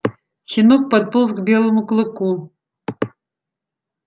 щенок подполз к белому клыку